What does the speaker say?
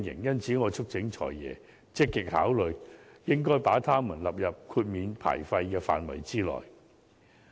因此，我促請"財爺"積極考慮把它們納入豁免牌照費的範圍內。